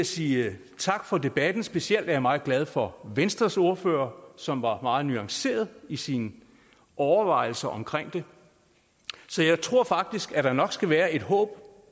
sige tak for debatten specielt er jeg meget glad for venstres ordfører som var meget nuanceret i sine overvejelser så jeg tror faktisk at der nok skal være et håb